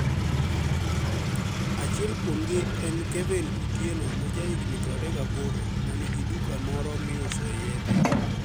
Achiel kuomgi eni Kevini Otieno ma jahiginii 28 ma niigi duka moro miusoe yedhe.